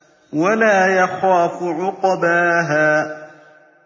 وَلَا يَخَافُ عُقْبَاهَا